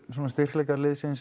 styrkleikar liðsins